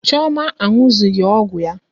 Chioma anụzughi ọgwụ ya.